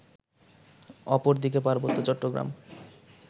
অপরদিকে পার্বত্য চট্টগ্রাম